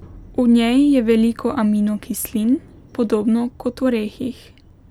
V njej je veliko aminokislin, podobno kot v orehih.